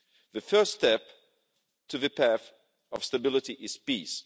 The first step to the path of stability is peace.